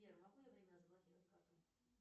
сбер могу я временно заблокировать карту